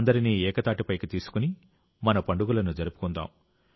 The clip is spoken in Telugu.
అందరినీ ఏకతాటిపైకి తీసుకుని మన పండుగలను జరుపుకుందాం